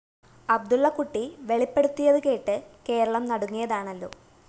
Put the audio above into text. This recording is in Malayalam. അബ്ദുള്ളക്കുട്ടി വെളിപ്പെടുത്തിയതുകേട്ട് കേരളം നടുങ്ങിയതാണല്ലോ